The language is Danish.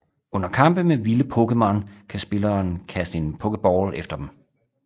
Under kampe med vilde Pokémon kan spilleren kaste en Poké Ball efter dem